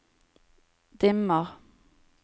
dimmer